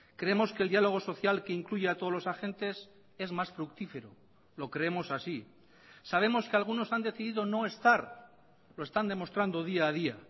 creemos que el diálogo social que incluya a todos los agentes es más fructífero lo creemos así sabemos que algunos han decidido no estar lo están demostrando día a día